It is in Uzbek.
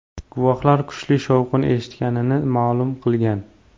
Guvohlar kuchli shovqin eshitganini ma’lum qilgan.